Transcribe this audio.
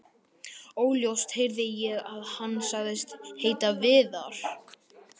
Óljóst heyrði ég að hann sagðist heita Viðar.